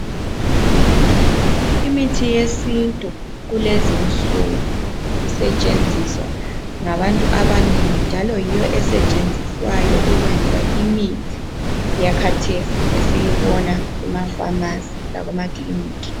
Imithi yesintu kulezinsuku sisetshenziswa ngabantu abanengi njalo yiyo esetshenziswayo ukwenza imithi yakathesi esiyibona emafamasi lakumakiliniki.